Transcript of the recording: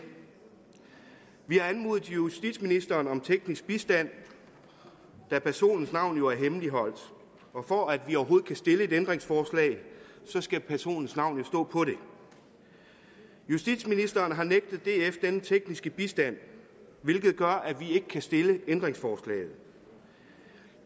vi har anmodet justitsministeren om teknisk bistand da personens navn jo er hemmeligholdt og for at vi overhovedet kan stille et ændringsforslag skal personens navn stå på det justitsministeren har nægtet df denne tekniske bistand hvilket gør at vi ikke kan stille ændringsforslaget